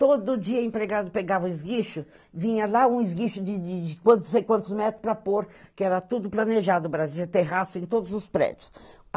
Todo dia o empregado pegava o esguicho, vinha lá um esguicho de de de quantos metros para pôr, que era tudo planejado, Brasília, terraço, em todos os prédios.